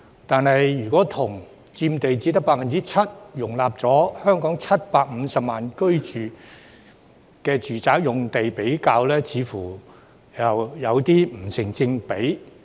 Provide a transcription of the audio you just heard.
但是，如果與佔地只得 7%、容納香港750萬人居住的住宅用地比較，似乎又不成正比。